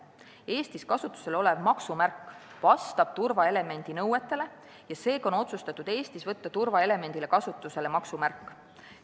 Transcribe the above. Eestis kasutusel olev maksumärk vastab turvaelemendi nõetele ja seega on otsustatud Eestis võtta turvaelemendina kasutusele maksumärk.